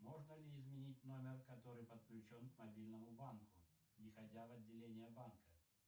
можно ли изменить номер который подключен к мобильному банку не ходя в отделение банка